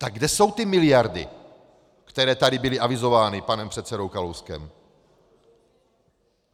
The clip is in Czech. Tak kde jsou ty miliardy, které tady byly avizovány panem předsedou Kalouskem?